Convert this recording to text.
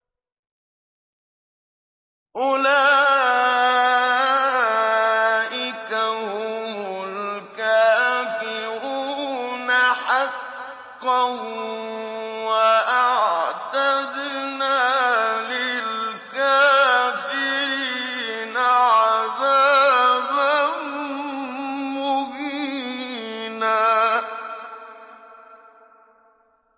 أُولَٰئِكَ هُمُ الْكَافِرُونَ حَقًّا ۚ وَأَعْتَدْنَا لِلْكَافِرِينَ عَذَابًا مُّهِينًا